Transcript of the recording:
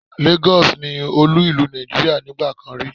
Lagos ni olú ìlú Nàìjíríà nígbà kan rí